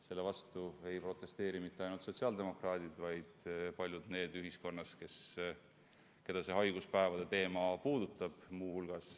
Selle vastu ei protesteeri mitte ainult sotsiaaldemokraadid, vaid ka paljud need ühiskonnaliikmed, keda haiguspäevade teema puudutab.